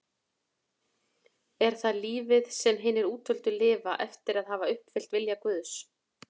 Er það lífið sem hinir útvöldu lifa eftir að hafa uppfyllt vilja Guðs?